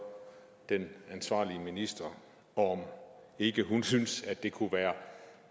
den ansvarlige minister om ikke hun synes at det kunne være